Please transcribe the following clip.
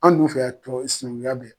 An dun fɛ yan sinankunya be yan.